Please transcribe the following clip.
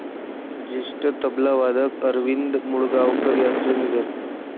ज्येष्ठ तबलावादक अरविंद मुळगावकर यांचं निधन